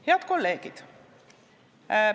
Head kolleegid!